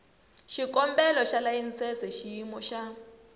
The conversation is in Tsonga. xikombelo xa layisense xiyimo xa